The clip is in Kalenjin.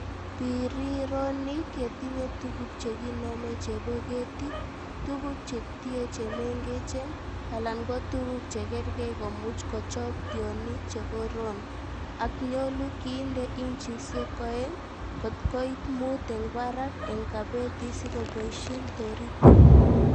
Birironik yetinye tuguk chekinome chebo ketik, tuguk che tie che mengechen, alan ko tuguk che kergei komuch kochob tionik che koroon, ak nyolu kiinde inchisiek oeng kotkoit mut en barak en kabeti sikoboishien toritik.